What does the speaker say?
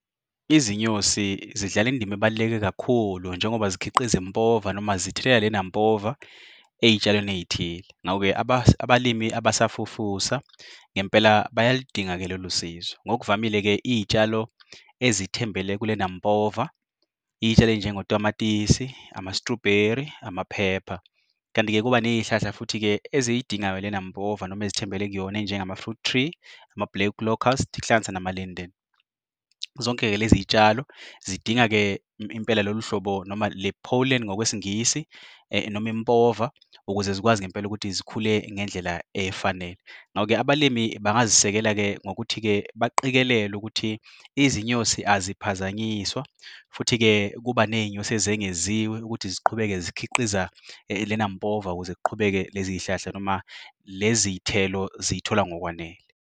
Izinyosi zidlala indima ebaluleke kakhulu, njengoba zikhiqiza impova noma zithela lena mpova ey'tshalweni eyithile. Ngawo-ke abalimi abasafufusa, ngempela bayalidinga-ke lolu sizo. Ngokuvamile-ke iyitshalo ezithembele kulena mpova, iy'tshalo ey'njengo tamatisi, ama-strawberry, ama-pepper. Kanti-ke kuba ney'hlahla futhi-ke eziyidingayo lena mpova noma ezithembele kuyona. Enjengama-fruit tree, ama-black locust kuhlanganisa nama-linden. Zonke-ke lezitshalo zidinga-ke impela lolu hlobo noma le-pollen ngokweSingisi noma improva, ukuze zikwazi ngempela ukuthi zikhule ngendlela efanele. Ngawo-ke abalimi bangazisekela-ke ngokuthi-ke baqikelele, ukuthi izinyosi aziphazanyiswa. Futhi-ke kuba nezinyosi ezengeziwe ukuthi ziqhubeke zikhiqiza lena mpova. Ukuze ziqhubeke lezizihlahla noma lezithelo zithola ngokwanele.